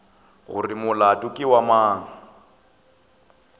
gore molato ke wa mang